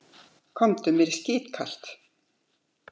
Komdu, mér er skítkalt